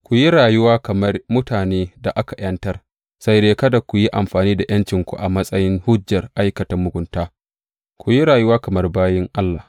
Ku yi rayuwa kamar mutanen da aka ’yantar, sai dai kada ku yi amfani da ’yancinku a matsayin hujjar aikata mugunta; ku yi rayuwa kamar bayin Allah.